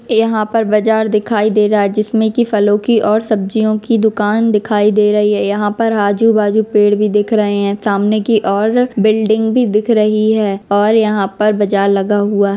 यहाँ पर बाजार दिखायी दे रहा है जिसमे की फलों की और सब्जियों की दुकान दिखाय दे रही है यहाँ पर आजू बाजू पेड़ भी दिख रहे हैं सामने की और बिल्डिंग भी दिख रही है और यहाँ पर बाजार लगा हुवा है।